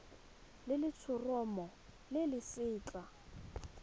le letshoroma le le setlha